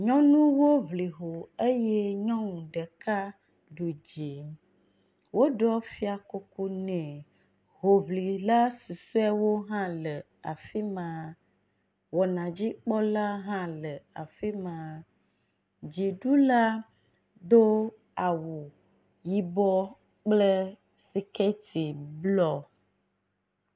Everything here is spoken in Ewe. Nyɔnuwo ŋli ho eye nyɔnu ɖek ɖu dzi woɖɔ fiakuku nɛ. Hoŋlila susɔewo hã le afi ma. Wɔnadzikpɔla hã le afi ma. Dziɖula do awu yibɔ kple sikɛti blɔ.